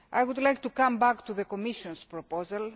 I would like to come back to the Commissionʼs proposal.